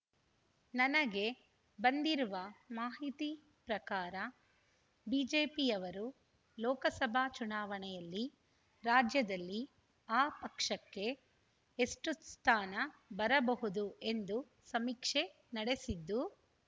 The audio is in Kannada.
ನನಗೆ ಬಂದಿರುವ ಮಾಹಿತಿ ಪ್ರಕಾರ ಬಿಜೆಪಿಯವರು ಲೋಕಸಭಾ ಚುನಾವಣೆಯಲ್ಲಿ ರಾಜ್ಯದಲ್ಲಿ ಆ ಪಕ್ಷಕ್ಕೆ ಎಷ್ಟುಸ್ಥಾನ ಬರಬಹುದು ಎಂದು ಸಮೀಕ್ಷೆ ನಡೆಸಿದ್ದು